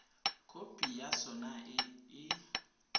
khopi ya sona e e